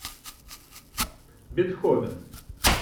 бетховен